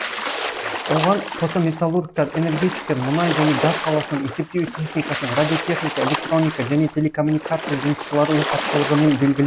оған қоса металлургтар энергетиктер мұнай және газ саласының есептеу техникасының радиотехника электроника және телекоммуникация жұмысшылары өз тапшылығымен белгіл